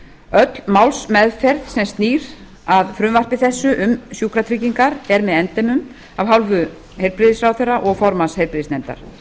öll málsmeðferð sem snýr að frumvarpi þessu um sjúkratryggingar er með endemum af hálfu heilbrigðisráðherra og formanns heilbrigðisnefndar